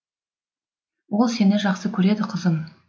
ол сені жақсы көреді қызым